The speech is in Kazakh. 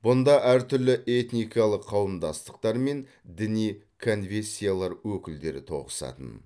бұнда әртүрлі этникалық қауымдастықтар мен діни конфессиялар өкілдері тоғысатын